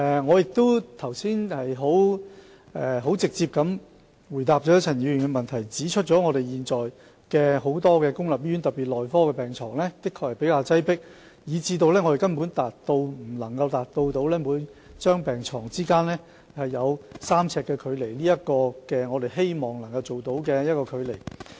我剛才已直接回答了陳議員的質詢，指出現在很多公立醫院，特別是內科病房的確比較擠迫，以致我們根本無法達到每張病床之間有3呎距離，即我們希望維持的距離。